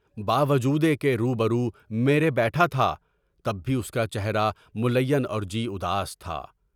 بہ باوجودہ کہ روبرو میرے بیٹھا تھا، تب بھی اُس کا چہرہ ملیں اور جی اداس تھا۔